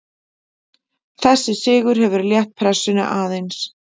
Þessi sigur hefur létt pressunni aðeins.